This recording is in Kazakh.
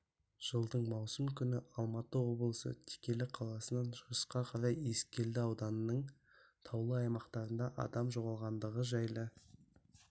жылдың маусым күні алматы облысы текелі қаласынан шығысқа қарай ескелді ауданының таулы аймақтарында адам жоғалғандығы жайлы